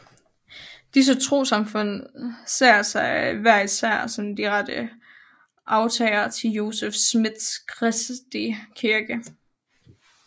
Disse trossamfund ser sig hver især som de rette arvtagere til Joseph Smiths kristi kirke